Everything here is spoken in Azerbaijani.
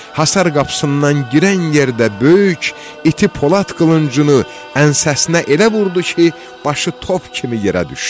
Həsar qapısından girən yerdə böyük iti Polad qılıncını ənsəsinə elə vurdu ki, başı top kimi yerə düşdü.